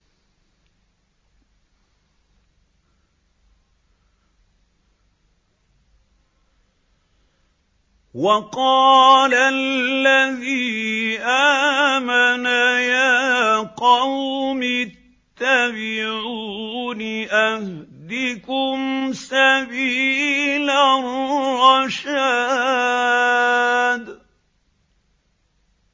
وَقَالَ الَّذِي آمَنَ يَا قَوْمِ اتَّبِعُونِ أَهْدِكُمْ سَبِيلَ الرَّشَادِ